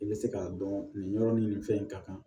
I bɛ se k'a dɔn nin yɔrɔ nin nin fɛn in ka kan